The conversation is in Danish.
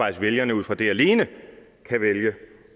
at vælgerne ud fra det alene kan vælge